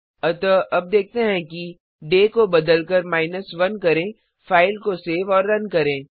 अतः अब देखते हैं कि डे दिन को बदलकर 1 करें फ़ाइल को सेव और रन करें